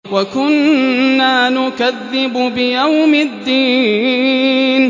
وَكُنَّا نُكَذِّبُ بِيَوْمِ الدِّينِ